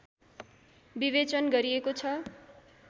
विवेचन गरिएको छ